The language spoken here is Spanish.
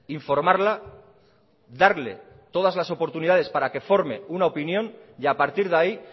informarla darle todas las oportunidades para que forme una opinión y a partir de ahí